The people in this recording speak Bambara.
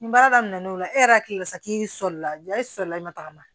Nin baara daminɛnen o la e yɛrɛ hakili la sa k'i sɔli la e sɔrɔla i ma tagama